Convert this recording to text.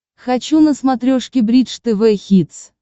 хочу на смотрешке бридж тв хитс